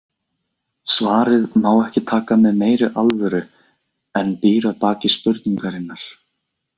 Svarið má ekki taka með meiri alvöru en býr að baki spurningarinnar.